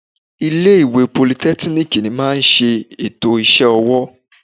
Ilé ìwé politẹ́kíníìkì máa ń ṣe ètò iṣẹ́ ọwọ́.